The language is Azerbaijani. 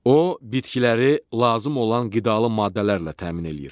O bitkiləri lazım olan qidalı maddələrlə təmin eləyir.